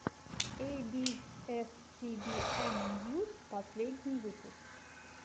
эй би эс си би эн ньюс последний выпуск